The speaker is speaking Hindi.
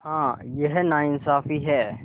हाँ यह नाइंसाफ़ी है